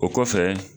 O kɔfɛ